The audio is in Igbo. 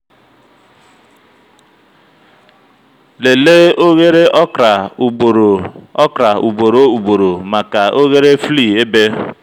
lelee oghere okra ugboro okra ugboro ugboro maka oghere flea ebe.